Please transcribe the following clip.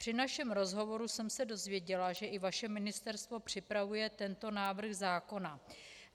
Při našem rozhovoru jsem se dozvěděla, že i vaše Ministerstvo připravuje tento návrh zákona.